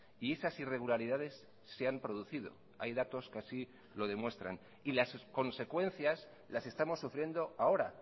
y esas irregularidades se han producido hay datos que así lo demuestran y las consecuencias las estamos sufriendo ahora